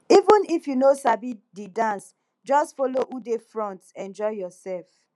even if you no sabi the dance just follow who dey front enjoy yourself